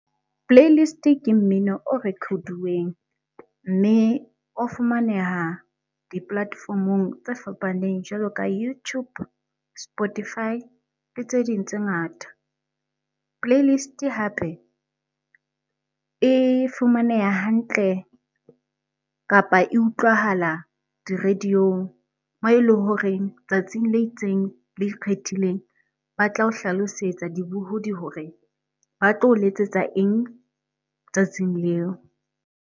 Playlist ke mmino o record-uweng. Mme o fumaneha di-platform-ong tse fapaneng jwalo ka YouTube, Spotify le tse ding tse ngata. Playlist hape e fumaneha hantle kapa e utlwahala di-radio-ng moo e le horeng tsatsing le itseng, le ikgethileng ba tla o hlalosetsa dibohodi hore ba tlo o letsetsa eng? Tsatsing leo.